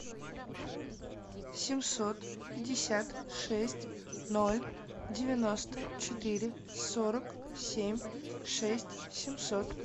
семьсот пятьдесят шесть ноль девяносто четыре сорок семь шесть семьсот